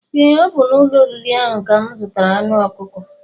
Ee ọ bu n'ụlọ oriri ahụ ka mụ zụtara anụ ọkụkọ